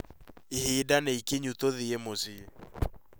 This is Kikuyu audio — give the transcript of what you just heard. Ihinda nĩikinyu tũthiĩ mũciĩ